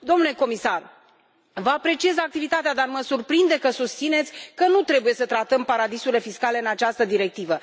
Domnule comisar, vă apreciez activitatea, dar mă surprinde că susțineți că nu trebuie să tratăm paradisurile fiscale în această directivă.